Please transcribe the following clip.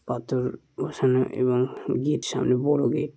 পাথর বসানো এবং গেট সামনে বড় গেট ।